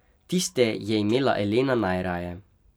Tiste je imela Elena najraje.